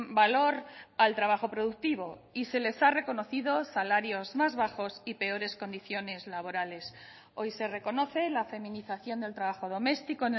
valor al trabajo productivo y se les ha reconocido salarios más bajos y peores condiciones laborales hoy se reconoce la feminización del trabajo doméstico